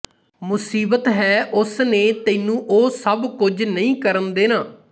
ਮੁਸੀਬਤ ਹੈ ਉਸਨੇ ਤੈਨੂੰ ਉਹ ਸਭ ਕੁਝ ਨਹੀਂ ਕਰਨ ਦੇਣਾ